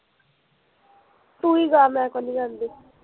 ਤੂੰ ਹੀਂ ਗਾ ਮੈਂ ਕੋਨੀ ਗਾਂਦੀ